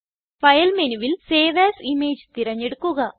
file മെനുവിൽ save A S image തിരഞ്ഞെടുക്കുക